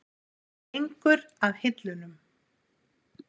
Hún gengur að hillunum.